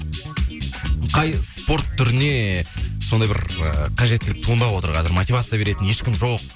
қай спорт түріне еее сондай бір ыыы қажеттілік туындап отыр қазір мотивация беретін ешкім жоқ